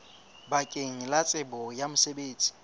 bakeng la tsebo ya mosebetsi